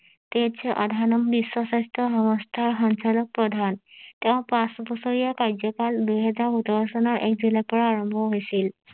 তেজ আধানম বিশ্ব স্বাস্থ্য সংস্থা সঞ্চালক প্ৰধান তেওঁ পাঁচ বছৰীয়া কাৰ্য্যকাল দুই হেজাৰ সোতৰ চনৰ এক জুলাই পৰা আৰাম্ভ হৈছিল